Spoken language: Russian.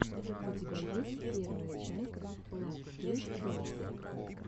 у тебя есть первая часть лав кейт долс